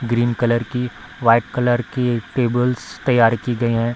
Green colour की white colour की tables तैयार की गई हैं।